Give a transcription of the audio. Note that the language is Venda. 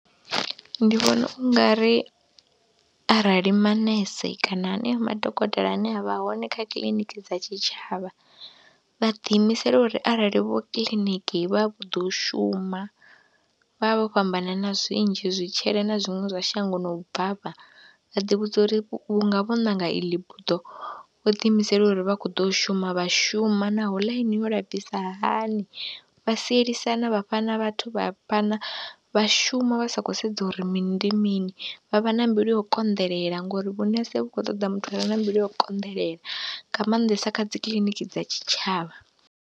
Ndi vhona u nga ri arali manese kana haneo madokotela ane a vha hone kha kiḽiniki dza tshitshavha, vha ḓiimisela uri arali vho kiḽiniki vha vho ḓa u shuma, vha vha vho fhambanana zwinzhi, zwitshele na zwiṅwe zwa shangoni na u bvafha, vha ḓivhudza uri vhunga vho ṋanga ili buḓo vho ḓiimisela uri vha khou ḓo shuma, vha shuma naho ḽaini yo lafhisa hani, vha sielisana vha fhana vhathu vha fhana vha shuma vha sa khou sedza uri mini ndi mini, vha vha na mbilu ya u konḓelela ngori vhunese vhu khou ṱoḓa muthu are na mbilu ya u konḓelela nga maanḓesa kha dzi kiḽiniki dza tshitshavha.